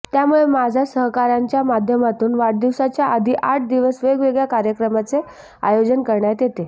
त्यामुळे माझ्या सहकाऱयांच्या माध्यमातून वाढदिवसाच्या आधी आठ दिवस वेगवेगळय़ा कार्यक्रमाचे आयोजन करण्यात येते